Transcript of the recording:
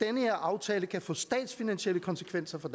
her aftale kan få statsfinansielle konsekvenser for